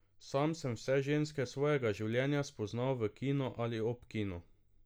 Sam sem vse ženske svojega življenja spoznal v kinu ali ob kinu!